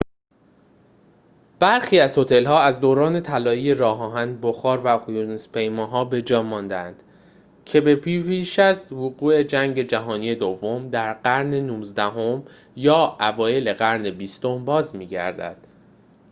برخی از هتل‌ها از دوران طلایی راه آهن بخار و اقیانوس‌پیماها به‌جای مانده‌اند که به پیش از وقوع جنگ جهانی دوم در قرن نوزدهم یا اوایل قرن بیستم باز می‌گردند